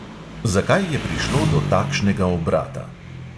Zakaj je prišlo do takšnega obrata?